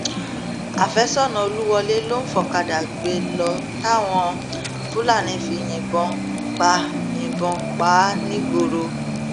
àfẹsọnà olúwọlé ló ń fọkadà gbé lọ táwọn fúlàní fi yìnbọn pa yìnbọn pa á nìgbòòrà